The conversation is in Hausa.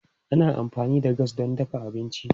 Ana amfani da gas don dafa abinci.